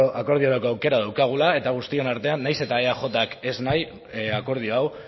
akordiorako aukera daukagula eta guztion artean nahiz eta eajak ez nahi akordio hau